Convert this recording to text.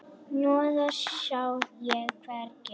Hnoðað sá ég hvergi.